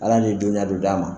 Ala le ye dɔnniya dɔ d'a ma.